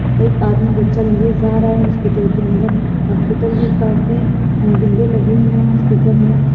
एक आदमी बच्चा लिए जा रहा है हॉस्पिटल के अंदर। हॉस्पिटल मे काफी विंडो लगी हुई है हॉस्पिटल मे --